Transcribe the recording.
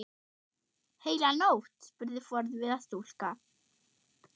Heila nótt? spurði forviða stúlka.